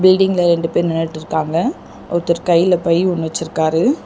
பில்டிங்ல ரெண்டு பேர் நின்னுட்ருக்காங்க ஒருத்தர் கைல பை ஒன்னு வெச்சுருக்காரு.